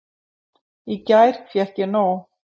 Í gær fékk ég nóg!